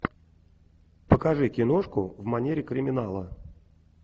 покажи киношку в манере криминала